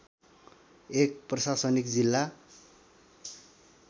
एक प्रशासनिक जिल्ला